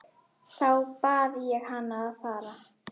Þá bað ég hann að fara.